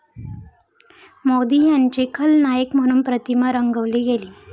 मोदी यांची खलनायक म्हणून प्रतिमा रंगवली गेली.